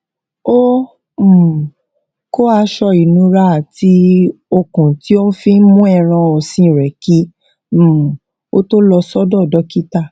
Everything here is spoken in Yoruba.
ó um kó aṣọ ìnura àti okùn tí ó fi ń mú ẹran òsìn rè kí um ó tó lọ sódò dókítà